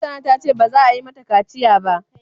Hassana ta ce ba za a yi mata kaciya ba.